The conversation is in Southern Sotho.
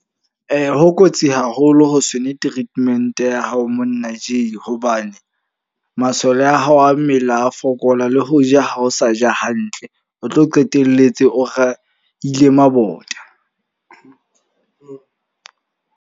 Ho kotsi haholo ho se nwe treatment ya hao monna Jay. Hobane masole a hao a mmele a fokola le ho ja ha o sa ja hantle. O tlo qetelletse o raile mabota.